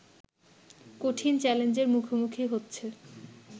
কঠিন চ্যালেঞ্জের মুখোমুখি হচ্ছে